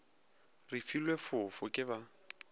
re filwe fofo ke ba